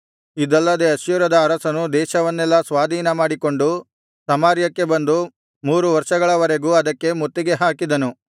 ಇದಲ್ಲದೆ ಅಶ್ಶೂರದ ಅರಸನು ದೇಶವನ್ನೆಲ್ಲಾ ಸ್ವಾಧೀನಮಾಡಿಕೊಂಡು ಸಮಾರ್ಯಕ್ಕೆ ಬಂದು ಮೂರು ವರ್ಷಗಳವರೆಗೂ ಅದಕ್ಕೆ ಮುತ್ತಿಗೆ ಹಾಕಿದನು